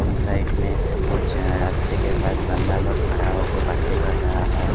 उस साइड में कुछ रास्ते के पास बंदा लोग खड़ा होकर बातें कर रहा है।